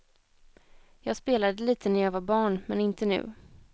Jag spelade lite när jag var barn, men inte nu.